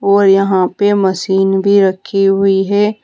और यहां पे मशीन भी रखी हुई है।